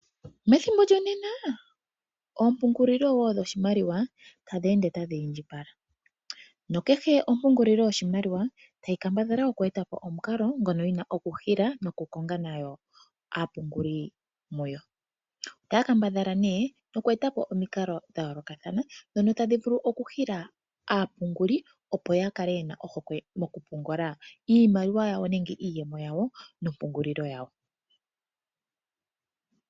Methimbo lyonena ompungulilo wo dhoshimaliwa tadhi ende tadhi indjipala. No kehe ompungulilo yoshimaliwa nayi kambadhale okueta po omukalo ngono yi na okuhila nokukonga nayo aapunguli muwo. Ota kambadhala ne okueta po omikalo dha yolokathana ndhono tadhi vulu okuhila aapunguli opo ya kale ye na ohokwe mokupungula iimaliwa yawo nenge iiyemo yawo nompungulilo yawo.